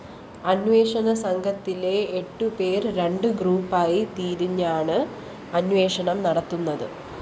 അന്വേഷണസംഘത്തിലെ എട്ട്‌പേര്‍ രണ്ട് ഗ്രൂപ്പായി തിരിഞ്ഞാണ് അന്വേഷണം നടത്തുന്നത്